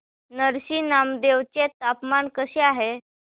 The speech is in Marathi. नरसी नामदेव चे तापमान कसे आहे